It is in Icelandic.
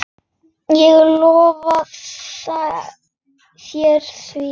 Ég lofa þér því.